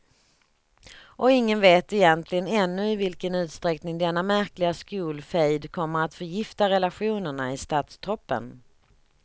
Och ingen vet egentligen ännu i vilken utsträckning denna märkliga skolfejd kommer att förgifta relationerna i statstoppen.